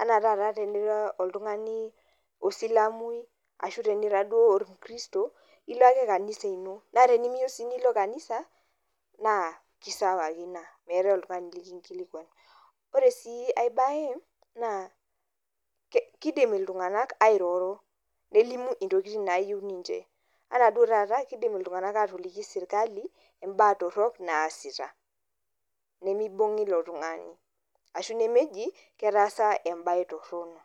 Ana taata tenira oltung'ani osilamui, ashu tenira duo o kristo, ilo ake kanisa ino. Naa tenimiyieu si nilo kanisa, naa kisawa ake ina. Meetae oltung'ani likinkilikwan. Ore si ai bae, naa kidim iltung'anak airoro, nelimu intokiting nayieu ninche. Anaa duo taata, kidim iltung'anak atoliki sirkali, imbaa torrok naasita. Nimibung'i ilo tung'ani, ashu nemeji, ketaasa ebae torrono.